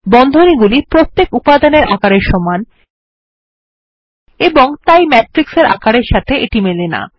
বন্ধনীগুলি প্রত্যেক উপাদানের আকারের সমান এবং তাই ম্যাট্রিক্স এর আকারের সাথে এটি মেলেনা